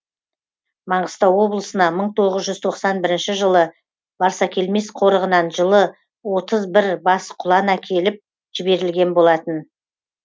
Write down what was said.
маңғыстау облысына мың тоғыз жүз тоқсан бірінші барсакелмес қорығынан жылы отыз бір бас құлан әкеліп жіберілген болатын